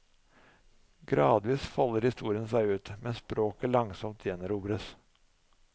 Gradvis folder historien seg ut, mens språket langsomt gjenerobres.